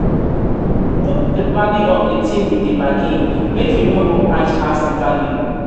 you suppose dey bargain even if na your customer get di market.